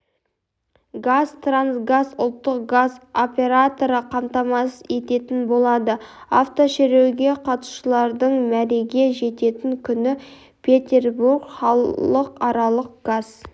қазтрансгаз ұлттық газ операторы қамтамасыз ететін болады автошеруге қатысушылардың мәреге жететін күні петербург халықаралық газ